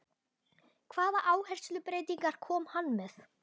Hvaða áherslubreytingar kom hann með?